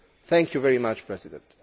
Thank you very much Mr President.